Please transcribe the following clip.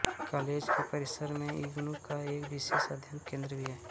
college के परिसर में इग्नू का एक विशेष अध्ययन केंद्र भी है